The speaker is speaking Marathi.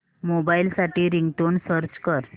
मोबाईल साठी रिंगटोन सर्च कर